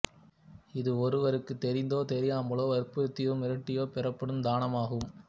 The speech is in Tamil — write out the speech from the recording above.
இது ஒருவருக்கு தெரிந்தோ தெரியாமலோ வற்புருத்தியோ மிரட்டியோ பெறப்படும் தானமாகும்